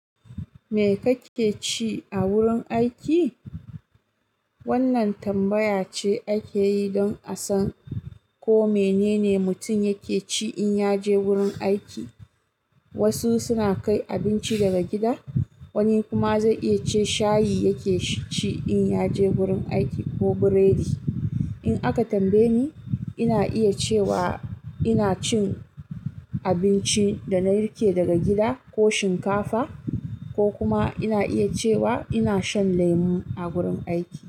"Me kake ci a wurin aiki?" Wannan tambaya ce ake yi don a san ko menene mutum yake ci in ya je wurin aiki. Wasu suna kai abinci daga gida, wani kuma zai iya ce shayi yake ci in ya je wurin aiki ko burodi. In aka tambaye ni, ina iya cewa ina cin abinci da na riƙe daga gida ko shinkafa, ko kuma ina iya cewa ina shan lemu a wurin aiki.